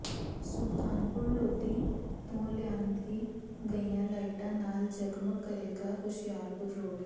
ਸੁਲਤਾਨਪੁਰ ਲੋਧੀ ਤੋਂ ਲਿਆਂਦੀ ਗਈਆਂ ਲਾਈਟਾਂ ਨਾਲ ਜਗਮਗ ਕਰੇਗਾ ਹੁਸ਼ਿਆਰਪੁਰ ਰੋਡ